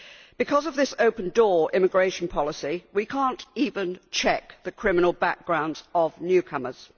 Because of this open door immigration policy, we cannot even check the criminal backgrounds of newcomers.